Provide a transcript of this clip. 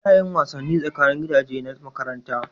A na yin wasanni tsakanin gidaje na makaranta